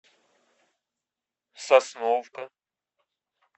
сосновка